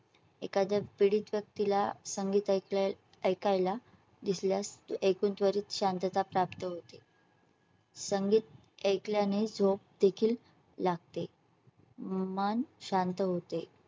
एखाद्या पीडित व्यक्तीला संगीता इथल्या ऐकाय ला दिसल्यास एकूण त्वरित शांतता प्राप्त होते . संगीत ऐकल्या ने झोप देखील लागते. मन शांत होते.